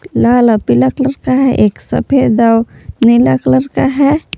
यह लाल पीला कलर का है एक सफेद और नीला कलर का है।